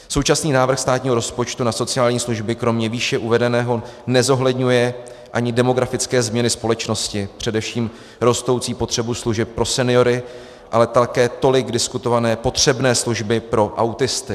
Současný návrh státního rozpočtu na sociální služby kromě výše uvedeného nezohledňuje ani demografické změny společnosti, především rostoucí potřebu služeb pro seniory, ale také tolik diskutované potřebné služby pro autisty.